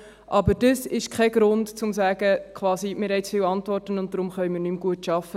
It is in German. Aber das ist kein Grund, quasi zu sagen: «Wir haben zu viele Antworten, und darum können wir nicht mehr gut arbeiten.